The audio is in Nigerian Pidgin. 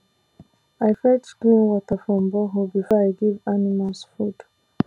i fetch clean water from borehole before i give animals food